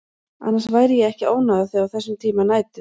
Annars væri ég ekki að ónáða þig á þessum tíma nætur.